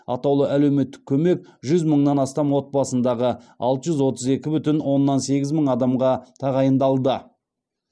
атаулы әлеуметтік көмек жүз мыңнан астам отбасындағы алты жүз отыз екі бүтін оннан сегіз мың адамға тағайындалды